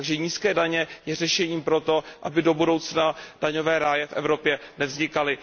Nízké daně jsou řešením pro to, aby do budoucna daňové ráje v Evropě nevznikaly.